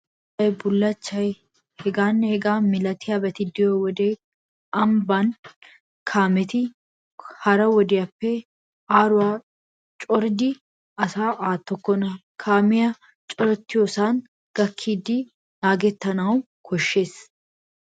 Baalay, bullachchay, hegaanne hegaa milatiyabati de'iyo wode ambban kaameti hara wodiyaappe aaruwaa coridi asaa aattokkona Kaamee corattiyosaa gakkidi naagettanawu koshshees.